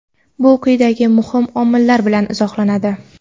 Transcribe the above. Bu quyidagi muhim omillar bilan izohlanadi.